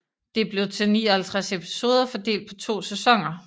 Det blev til 59 episoder fordelt på to sæsoner